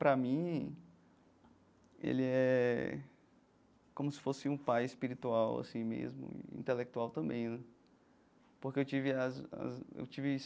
Para mim, ele é como se fosse um pai espiritual assim mesmo e intelectual também né, porque eu tive as as eu tive.